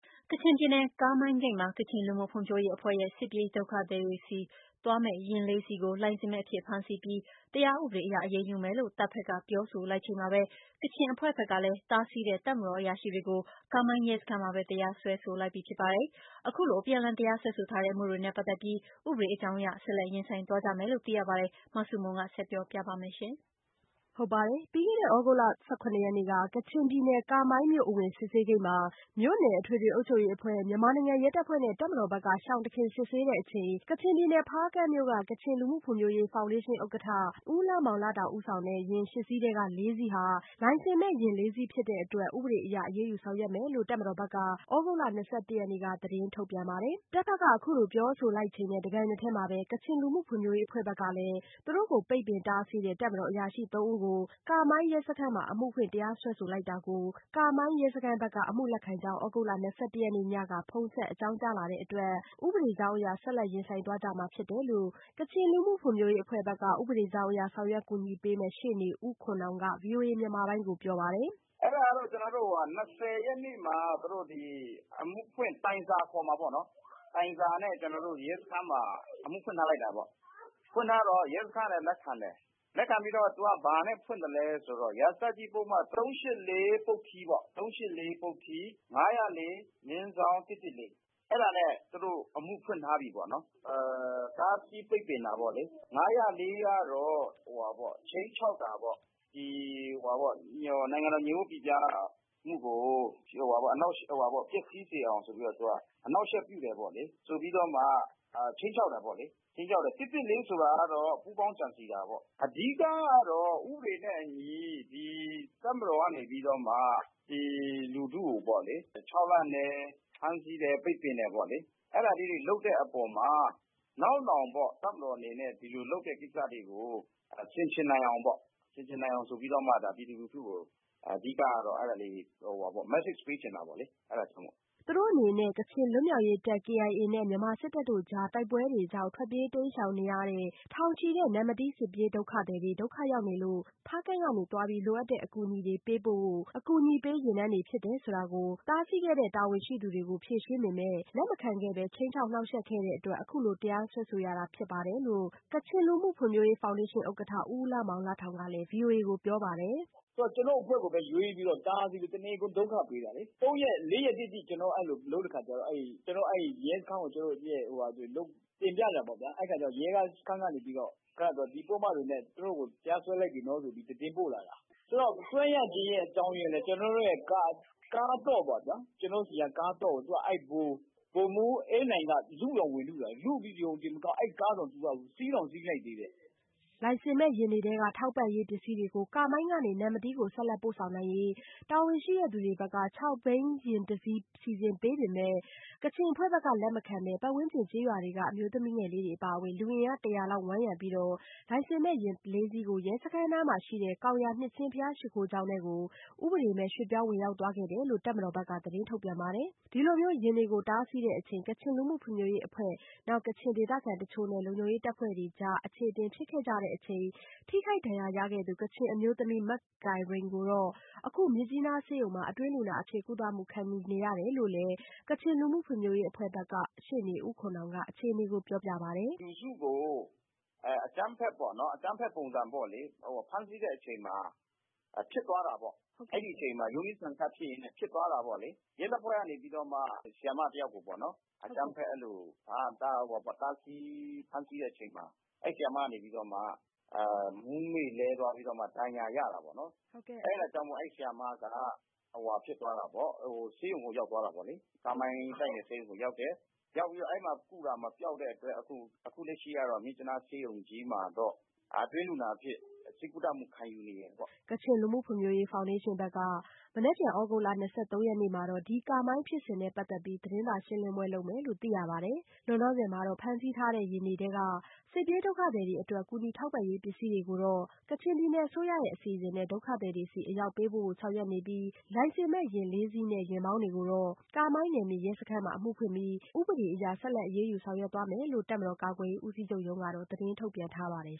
ကချင်ပြည်နယ် ကာမိုင်းဂိတ်မှာ ကချင်လူမှုဖွံ့ဖြိုးရေးအဖွဲ့ရဲ့ စစ်ပြေးဒုက္ခသည်တွေဆီသွားမယ့်ယာဉ်လေးစီးကို လိုင်စင်မဲ့အဖြစ်ဖမ်းဆီးပြီး တရားဥပဒေအရအရေးယူမယ်လို့ တပ်ဘက်က ပြောဆိုလိုက်ချိန်မှာပဲ ကချင်အဖွဲ့ဘက်ကလည်း တားဆီးတဲ့တပ်မတော်အရာရှိတွေကို ကာမိုင်းရဲစခန်းမှာပဲ တရားစွဲလိုက်ပြီဖြစ်ပါတယ်။ အခုလိုအပြန်အလှန်တရားစွဲဆို ထားတဲ့အမှုတွေနဲ့ ပတ်သက်ပြီး ဥပဒေကြောင်းအရ ဆက်လက်ရင်ဆိုင်သွားကြမယ်လို့ သိရပါတယ်။ မဆုမွန် ဆက်ပြောပြပါမယ်။ ပြီးခဲ့တဲ့ သြဂုတ်လ ၁၇ရက်နေ့က ကချင်ပြည်နယ် ကာမိုင်းမြို့အဝင်စစ်ဆေးဂိတ်မှာ မြို့နယ်အထွေထွေအုပ်ချုပ်ရေးအဖွဲ့၊ မြန်မာနိုင်ငံရဲတပ်ဖွဲ့နဲ့ တပ်မတော်ဘက်က ရှောင်တခင်စစ်ဆေးချိန် ကချင်ပြည်နယ် ဖားကန့်မြို့က ကချင်လူမှုဖွံ့ဖြိုးရေးဖောင်ဒေးရှင်းဥက္ကဋ္ဌ ဦးလမောင်လတောင် ဦးဆောင်တဲ့ ယာဉ် ၈ စီးထဲက လေးစီးဟာ လိုင်စင်မဲ့ယာဉ်လေးစီးဖြစ်တဲ့အတွက် ဥပဒေအရအရေးယူဆောင်ရွက်မယ်လို့ တပ်မတော်ဘက်က သြဂုတ်လ ၂၁ရက်နေ့က သတင်း ထုတ်ပြန်ပါတယ်။ တပ်ဘက်ကအခုလို ပြောဆိုလိုက်ချိန်နဲ့ တပြိုင်နက်တည်းမှာပဲ ကချင်လူမှုဖွံ့ဖြိုးရေးအဖွဲ့ဘက်ကလည်း ပိတ်ပင်တားဆီးတဲ့ တပ်မတော်အရာရှိသုံးဦးကို ကာမိုင်းရဲစခန်းမှာ အမှုဖွင့်တရားစွဲဆိုလိုက်တာကို ကာမိုင်းရဲစခန်းဘက်က အမှုလက်ခံကြောင်း သြဂုတ်လ ၂၁ရက်နေ့ညက ဖုန်းဆက်အကြောင်းကြားလာတဲ့အတွက် ဥပဒေကြောင်းအရ ဆက်လက် ရင်ဆိုင်သွားကြမှာဖြစ်တယ်လို့ ကချင်လူမှုဖွံ့ဖြိုးရေးအဖွဲ့က ဥပဒေကြောင်းအရ ဆောင်ရွက်ကူညီပေးမယ့်ရှေ့နေဦးခွန်နောင်က ဗွီအိုအေမြန်မာပိုင်း ကိုပြောပါတယ်။ “အဲဒါကတော့ ကျနော်တို့အခု၂၀ ရက်နေ့မှာ အမှုဖွင့် တိုင်စာခေါ်မှာပေါ့နော်၊ တိုင်စာနဲ့ကျနော်တို့ရဲစခန်းမှာ အမှုဖွင့်ထားလိုက်တာပေါ့နော် ၊ဖွင့်ထားတော့ ရဲစခန်းကလည်းလက်ခံတယ်။ လက်ခံပြီးတော့ သူကဘာနဲ့ဖွင့်သလဲဆိုတော့ ရာဇသတ်ကြီးပုဒ်မ ၃၈၄ ပုဒ်ထီးပေါ့ ပုဒ်ထီး ၅၀၄/၁၁၄အဲဒါနဲ့ သူတို့ အမှုဖွင့်ထားပြီပေါ့နော်။ တားဆီးပိတ်ပင်တာပေါ့လေ ၅၀၄ ကတော့ ခြိမ်းခြောက်တာပေါ့နော် ၊ ဒီနိုင်ငံတော်ငြိမ်ဝပ်ပိပြားမှုကို ပျက်ဆီးစေအောင်ဆိုပြီးတော့ သူက အနှောက်အယှက်ပြုတယ်ပေါ့လေ။ ဆိုပြီးတော့မှ ခြိမ်းခြောက်တယ်ပေါ့လေ။ ၁၁၄ ဆိုတာကတော့ ပူးပေါင်းကြံစဉ်တာပေါ့။ အဓိကတော့ ဥပဒေနဲ့အညီ တပ်မတော်ကနေပြီးတော့မှ လူထုကိုပေါ့လေ ခြောက်လန့်တယ် ဖမ်းဆီးပိတ်ပင်တယ်ပေါ့လေ အဲဒီအပေါ်မှာ နောက်နောင် တပ်မတော်အနေနဲ့ ဒီလိုလုပ်တဲ့ကိစ္စတွေကို ဆင်ခြင်နိုင်အောင်ဆိုပြီးတော့မှ ပြည်သူလူထုကို message ပေးချင်တာပေါ့လေ အဲဒါကြောင့်မို့လို့။” သူတို့အနေနဲ့ ကချင်လွတ်မြောက်ရေးတပ် KIA နဲ့ မြန်မာစစ်တပ်တို့ကြား တိုက်ပွဲတွေကြောင့် ထွက်ပြေးတိမ်းရှောင်နေရတဲ့ ထောင်ချီတဲ့ နမ္မတီးစစ်ပြေးဒုက္ခသည်တွေ ဒုက္ခရောက်နေလို့ ဖားကန့်ကနေသွားပြီး လိုအပ်တဲ့အကူအညီတွေပေးပို့မယ့် အကူအညီပေး ယာဉ်တန်း တွေဖြစ်တယ်ဆိုတာ တားဆီးခဲ့တဲ့တာဝန်ရှိသူတွေကို ဖြေရှင်းပေမယ့် လက်မခံခဲ့ပဲ ခြိမ်းခြောက်နှောင့်ယှက်ခဲ့တဲ့အတွက် အခုလိုတရားစွဲဆိုရတာဖြစ်တယ်လို့ ကချင်လူမှုဖွံ့ဖြိုးရေးဖောင်ဒေးရှင်းဥက္ကဋ္ဌ ဦးလမောင်လတောင်ကလည်း ပြောပါတယ်။ “သူတို့က ကျနော်တို့အဖွဲ့ကိုပဲ ရွေးပြီးတာပြီးတော့ တနေကုန်ဒုက္ခပေးတာလေ။ ၄ ရက်တိတိ ကျနော်တို့ကိုလုပ်တဲ့အခါကျတော့ ရဲစခန်းကို ကျနော်တို့ တင်ပြတာပေါ့နော်။ အဲဒီတော့ ရဲစခန်းကနေပြီးတော့ သူတို့ကို ဒီပုဒ်မတွေနဲ့ တရားစွဲလိုက်ပြီဆိုတာ သတင်းပို့လာတာ ။ ဆိုတော့ စွဲရခြင်းအကြောင်းက ကျနော်တို့ ကားသော့ပေါ့နော် အဲဒါကို ဗိုလ်မှူးအေးနိုင်က လုတောင်ဝင်လုပြီးတော့ သူက စီးတောင်စီးလိုက်သေးတယ်။” လိုင်စင်မဲ့ယာဉ်တွေထဲက ထောက်ပံ့ရေးပစ္စည်းတွေကို ကာမိုင်းကနေ နမ္မတီးသို့ ဆက်လက်ပို့ဆောင်နိုင်ရေး တာဝန်ရှိသူတွေဘက်က ၆ ဘီးယာဉ် ၁ စီး စီစဉ်ပေးသော်လည်း အဖွဲ့က လက်မခံဘဲ ပတ်ဝန်းကျင်ကျေးရွာများတွေက အမျိုးသမီးငယ်များအပါအဝင် လူအင်အား ၁၀၀ ခန့် ဝန်းရံပြီး လိုင်စင်မဲ့ယာဉ် ၄ စီးကို ရဲစခန်းအနီးမှာရှိတဲ့ ကောင်ရာနှစ်ခြင်းဘုရားရှိခိုးကျောင်းသို့ ဥပဒေမဲ့ ရွှေ့ပြောင်းဝင်ရောက်သွားခဲ့တယ်လို့ တပ်ဘက်က သတင်းထုတ်ပြန်ထားတပါတယ်။ ဒီလိုယာဉ်တွေကို တားဆီးစဉ် ကချင်လူမှုဖွံ့ဖြိုးရေးအဖွဲ့၊ နောက် ကချင်ဒေသခံအချို့နဲ့ လုံခြုံရေးတပ်ဖွဲ့တွေကြား အခြေအတင်ဖြစ်ခဲ့ကြချိန် ထိခိုက်ဒဏ်ရာရခဲ့သူ ကချင်အမျိုးသမီးမကိုင်ရိန်ကို အခုမြစ်ကြီးနားဆေးရုံမှာ အတွင်းလူနာအဖြစ် ကုသမှုခံယူနေရတယ်လို့လည်း ကချင်လူမှုဖွံ့ဖြိုးရေးအဖွဲ့ဘက်က ရှေ့နေဦးခွန်နောင်က ပြောပြပါတယ်။ “လူစုကိုအကြမ်းဖက်ပေါ့နော် ဖမ်းဆီးတဲ့အချိန်မှာ ဖြစ်သွားတာပေါ့ အဲဒီအချိန်မှာ ရုန်းရင်းဆန်ခတ်ဖြစ်သွားတဲ့အချိန်မှာ ဖြစ်သွားတာပေါ့လေ။ ရဲတပ်ဖွဲ့ကနေပြီးတော့မှ ဆရာမတယောက်ကိုပေါ့နော် အကြမ်းဖက်တားဆီး၊ ဖမ်းဆီးတဲ့အချိန်မှာ အဲဒီဆရာမကနေပြီးတော့မှ မူးမေ့လဲသွားပြီးတော့ ဒဏ်ရာရတာပေါ့နော် ၊ အဲဒါကြောင့်မို့လို့ အဲဒီဆရာမက ဆေးရုံကိုရောက်သွားတာပေါ့လေ။ ကားမိုင်းဆေးရုံကိုရောက်တယ်၊ အဲဒီမှာ ကုတာမပျောက်တဲ့အချိန်မှာ အခုလက်ရှိကတော့ မြစ်ကြီးနားမှာတော့ အတွင်းလူနာအဖြစ် ကုသမှုခံယူနေတယ်ပေါ့။” လောလောဆယ်မှာတော့ ဖမ်းဆီးထားတဲ့ယာဉ်တွေထဲက စစ်ပြေးဒုက္ခသည်တွေအတွက် ကူညီထောက်ပံ့ရေးပစ္စည်းတွေကိုတော့ ကချင်ပြည်နယ်အစိုးရရဲ့ အစီအစဉ်နဲ့ ဒုက္ခသည်တွေဆီအရောက်ပေးပို့ဖို့ဆောင်ရွက်နေပြီး လိုင်စင်မဲ့ယာဉ်လေးစီးနဲ့ ယာဉ်မောင်းတွေကို ကာမိုင်းနယ်မြေရဲစခန်းမှာ ဥပဒေအရအရေးယူဆောင်ရွက်သွားမယ်လို့ တပ်မတော်ကာကွယ်ရေးဦးစီးချုပ်ရုံးကသတင်းထုတ်ပြန်ထားပါတယ်